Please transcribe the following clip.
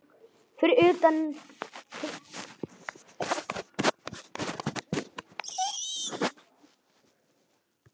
Fyrir utan langur gangur.